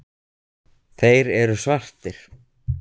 Þeir eru svartir.